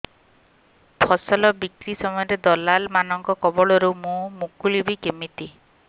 ଫସଲ ବିକ୍ରୀ ସମୟରେ ଦଲାଲ୍ ମାନଙ୍କ କବଳରୁ ମୁଁ ମୁକୁଳିଵି କେମିତି